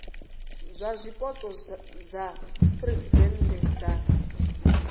dza zwipotso dza phuresidennde dza